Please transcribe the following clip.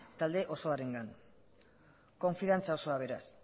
talde osoarengan konfidantza osoa beraz